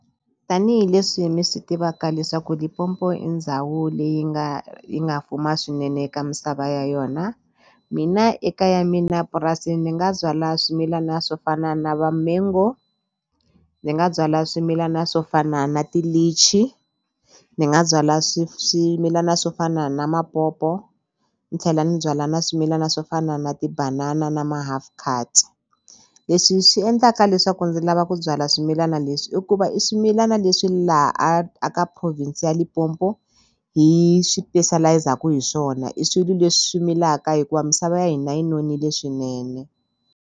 Tanihi leswi mi swi tivaka leswaku Limpopo i ndhawu leyi nga yi nga fuma swinene eka misava ya yona mina eka ya mina purasini ni nga byala swimilana swo fana na va mango ndzi nga byala swimilana swo fana na ti-lychee ni nga byala swimilana swo fana na mapopo ni tlhela ni byala na swimilana swo fana na tibanana na ma-half cards leswi swi endlaka leswaku ndzi lava ku byala swimilana leswi i ku va i swimilana leswi laha a a ka province Limpopo hi hi swona i swilo leswi swi milaka hikuva misava ya hina yi nonile swinene.